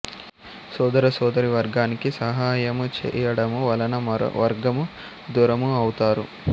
సొదర సోదరీ వర్గానికి సహాయము చేయడము వలన మరో వర్గము దూరము ఔతారు